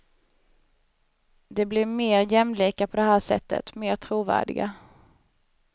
De blir mer jämlika på det här sättet, mer trovärdiga.